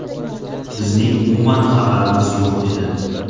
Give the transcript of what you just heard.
Bizning umuman xabarimiz yo‘q edi”.